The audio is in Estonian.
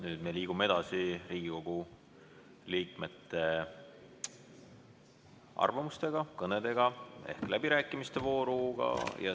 Nüüd me liigume edasi Riigikogu liikmete arvamustega, kõnedega ehk läbirääkimiste vooruga.